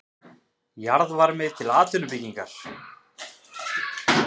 Jarðvarmi til atvinnuuppbyggingar